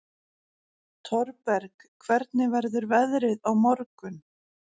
Thorberg, hvernig verður veðrið á morgun?